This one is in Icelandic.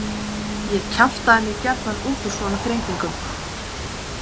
Ég kjaftaði mig gjarnan út úr svona þrengingum.